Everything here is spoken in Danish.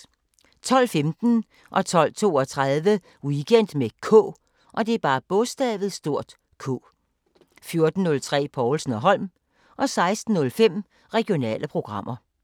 12:15: Weekend med K 12:32: Weekend med K 14:03: Povlsen & Holm 16:05: Regionale programmer